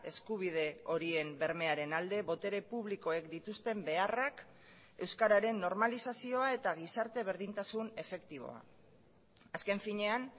eskubide horien bermearen alde botere publikoek dituzten beharrak euskararen normalizazioa eta gizarte berdintasun efektiboa azken finean